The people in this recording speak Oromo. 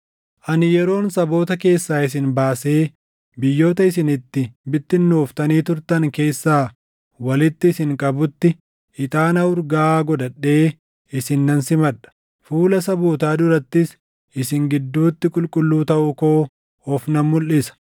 Ani yeroon saboota keessaa isin baasee biyyoota isin itti bittinnooftanii turtan keessaa walitti isin qabutti, ixaana urgaaʼaa godhadhee isin nan simadha; fuula sabootaa durattis isin gidduutti qulqulluu taʼuu koo of nan mulʼisa.